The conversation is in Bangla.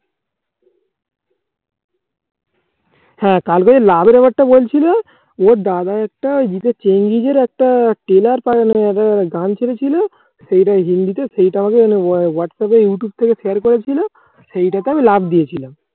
হা তাহলে লাভের ব্যাপারটা বলছিলো। ওর দাদা একটা ভিসা চেঞ্জিং জিতের একটা trailer একটা গান ছেড়ে ছিল সেটা হিন্দিতে সেটা আমাকে whatsapp youtube থেকে share করেছিল সেটা তে আমি love দিয়েছিলাম